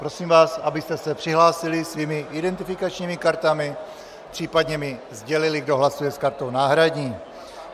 Prosím vás, abyste se přihlásili svými identifikačními kartami, případně mi sdělili, kdo hlasuje s kartou náhradní.